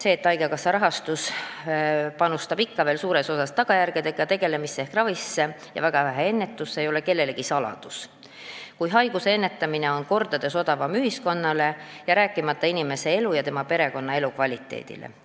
See, et haigekassa panustab raha ikka veel suures osas tagajärgedega tegelemisse ehk ravisse ja väga vähe ennetusse, ei ole kellelegi saladus, kuid haiguste ennetamine on ühiskonnale mitu korda odavam, rääkimata inimese elust ja tema perekonnaelu kvaliteedist.